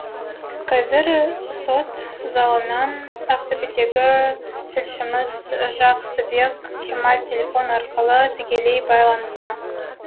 қазір сот залынан ақтөбедегі тілшіміз жақсыбек кемал телефон арқылы тікелей байланыста